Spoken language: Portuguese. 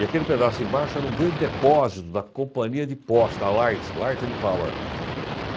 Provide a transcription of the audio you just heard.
E aquele pedaço embaixo era um grande depósito da companhia de posta Light, Light and Power.